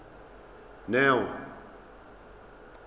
neo